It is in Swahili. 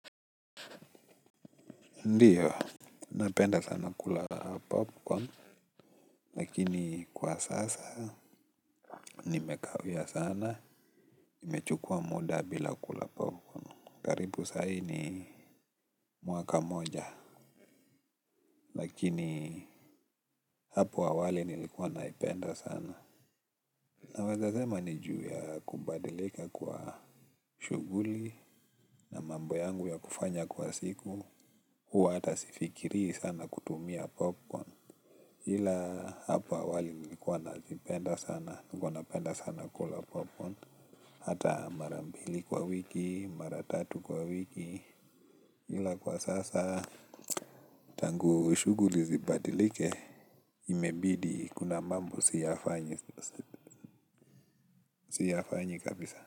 Ndiyo, napenda sana kula popcorn, lakini kwa sasa, nimekawiya sana, imechukua muda bila kula popcorn. Karipu sahi ni mwaka moja, lakini hapo awali nilikuwa naipenda sana. Nawezazema niju ya kubadilika kwa shuguli, na mambo yangu ya kufanya kwa siku, huwa hata sifikiri sana kutumia popcorn. Ila hapa wali nilikuwa nazipenda sana, nilikuwa napenda sana kula popcorn. Hata mara mbili kwa wiki, mara tatu kwa wiki ila kwa sasa, tangu shuguli zibadilike imebidi kuna mambo siyafanyi kabisa.